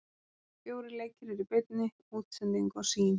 Fjórir leikir eru í beinni útsendingu á Sýn.